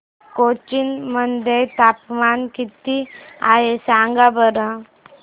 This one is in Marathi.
कोचीन मध्ये तापमान किती आहे सांगा बरं